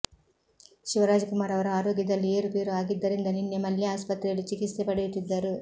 ಶಿವರಾಜ್ ಕುಮಾರ್ ಅವರ ಆರೋಗ್ಯದಲ್ಲಿ ಏರುಪೇರು ಆಗಿದ್ದರಿಂದ ನಿನ್ನೆ ಮಲ್ಯ ಆಸ್ಪತ್ರೆಯಲ್ಲಿ ಚಿಕಿತ್ಸೆ ಪಡೆಯುತ್ತಿದ್ದರು